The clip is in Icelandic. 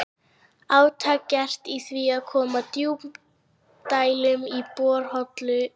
Átak gert í því að koma djúpdælum í borholur í